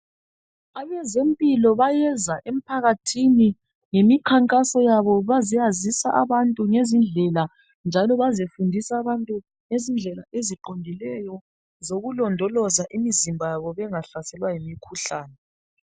Abazempilakahle bayeza emphakathini lemikhankaso yabo bazeyazisa abantu ngezindlela njalo bazefundisa abantu ngezindlela esiqondileyo zokulondoloza imizimba yabo bengahlaselwa yimikhuhlane.